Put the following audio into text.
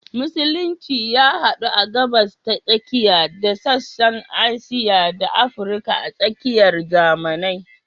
Musulunci ya hadu a Gabas ta Tsakiya da sassan Asiya da Afirka a tsakiyar zamanai.